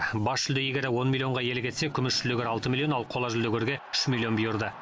бас жүлде иегері он миллионға иелік етсе күміс жүлдегер алты миллион ал қола жүлдегерге үш миллион бұйырды